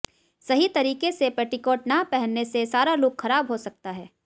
सही तरीके से पेटीकोट ना पहनने से सारा लुक खराब हो सकता है